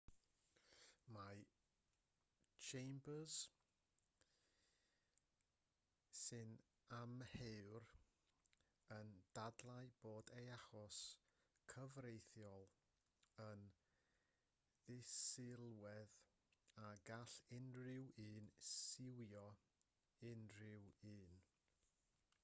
mae chambers sy'n amheuwr yn dadlau bod ei achos cyfreithiol yn ddisylwedd a gall unrhyw un siwio unrhyw un